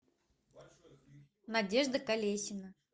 надежда колесина